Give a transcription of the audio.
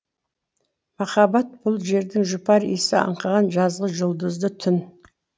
махаббат бұл жердің жұпар иісі аңқыған жазғы жұлдызды түн